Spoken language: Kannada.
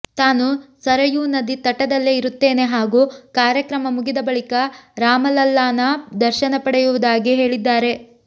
ತಾನು ಸರಯೂ ನದಿ ತಟದಲ್ಲೇ ಇರುತ್ತೇನೆ ಹಾಗೂ ಕಾರ್ಯಕ್ರಮ ಮುಗಿದ ಬಳಿಕ ರಾಮಲಲ್ಲಾನ ದರ್ಶನ ಪಡೆಯುವುದಾಗಿ ಹೇಳಿದ್ದಾರೆ